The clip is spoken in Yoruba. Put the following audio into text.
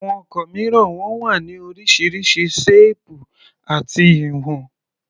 Àwọn ọkọ̀ mìíràn wọn wá ní oríṣiríṣi ṣéèpù àti ìwọn.